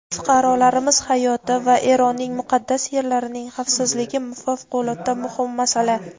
Fuqarolarimiz hayoti va Eronning muqaddas yerlarining xavfsizligi favqulodda muhim masala.